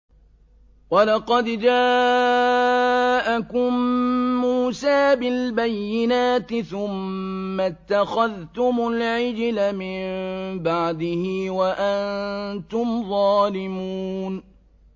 ۞ وَلَقَدْ جَاءَكُم مُّوسَىٰ بِالْبَيِّنَاتِ ثُمَّ اتَّخَذْتُمُ الْعِجْلَ مِن بَعْدِهِ وَأَنتُمْ ظَالِمُونَ